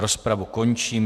Rozpravu končím.